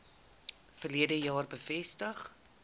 verlede jaar bevestig